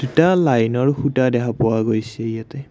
লাইনৰ খুঁটা দেখা পোৱা গৈছে ইয়াতে।